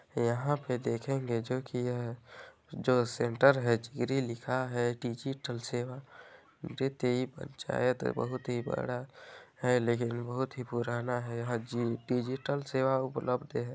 यहाँ पे देखेंगे जो की यह जो सेण्टर है चिहरी लिखा है डिजिटल सेवा पंचयत बहुत ही बड़ा है लेकिन बहुत ही पुराना है यहाँ जी डिजिटल सेवा उपलब्ध है।